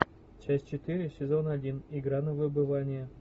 часть четыре сезона один игра на выбывание